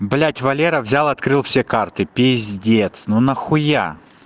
блять валера взял открыл все карты пиздец ну нахуя